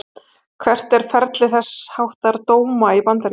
Hvert er ferli þess háttar dóma í Bandaríkjunum?